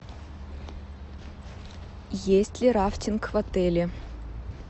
есть ли рафтинг в отеле